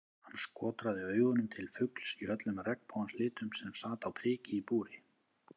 Hann skotraði augunum til fugls í öllum regnbogans litum sem sat á priki í búri.